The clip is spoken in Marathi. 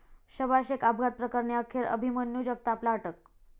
शबा शेख अपघात प्रकरणी अखेर अभिमन्यू जगतापला अटक